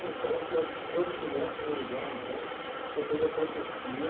Então o senhor, quando criança, no Uruguai então, o senhor fez a profecia